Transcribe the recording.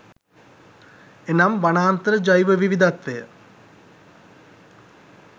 එනම් වනාන්තර ජෛව විවිධත්වය